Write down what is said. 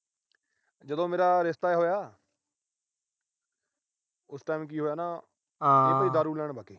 ਜਦੋਂ ਮੇਰਾ ਰਿਸ਼ਤਾ ਹੋਇਆ। ਉਸ time ਕੀ ਹੋਇਆ ਨਾ ਅਸੀਂ ਵੀ ਦਾਰੂ ਲੈਣ ਬਾਗੇ।